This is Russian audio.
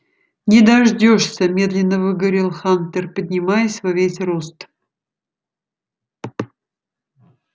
не дождёшься медленно выговорил хантер поднимаясь во весь рост